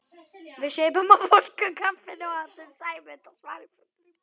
Við supum á volgu kaffinu og átum Sæmund á sparifötunum.